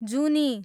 जुनी